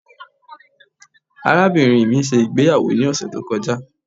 Arabinrin mi ṣe igbeyawo ni ọsẹ to kọja